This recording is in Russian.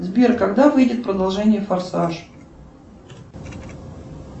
сбер когда выйдет продолжение форсаж